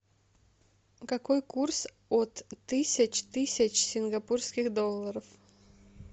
какой курс от тысяч тысяч сингапурских долларов